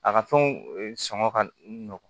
A ka fɛnw sɔngɔ ka nɔgɔ